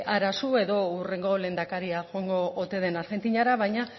hara zu edo hurrengo lehendakaria joango ote den argentinara baina